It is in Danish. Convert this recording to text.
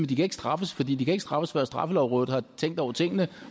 de kan ikke straffes for de kan ikke straffes før straffelovrådet har tænkt over tingene